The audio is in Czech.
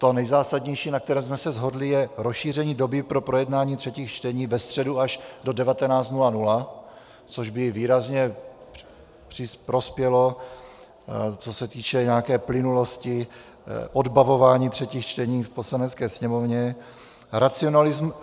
To nejzásadnější, na kterém jsme se shodli, je rozšíření doby pro projednání třetích čtení ve středu až do 19.00, což by výrazně prospělo, co se týče nějaké plynulosti odbavování třetích čtení v Poslanecké sněmovně.